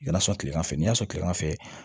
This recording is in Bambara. Y'a sɔrɔ kilegan fɛ ni y'a sɔrɔ kilema fɛ